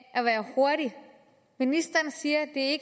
at være hurtig ministeren siger at